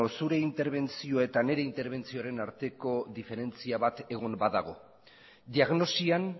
zure interbentzioa eta nire interbentzioaren arteko diferentzia bat egon badago diagnosian